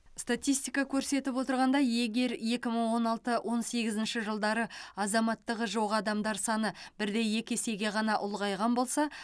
статистика көрсетіп отырғандай егер екі мың он алты он сегізінші жылдары азаматтығы жоқ адамдар саны бірде екі есеге ғана ұлғайған болса